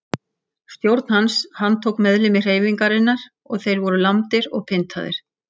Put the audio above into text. Stjórn hans handtók meðlimi hreyfingarinnar og voru þeir lamdir og pyntaðir.